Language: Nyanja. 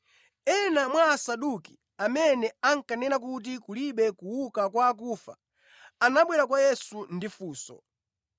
Ena mwa Asaduki, amene ankanena kuti kulibe kuuka kwa akufa, anabwera kwa Yesu ndi funso.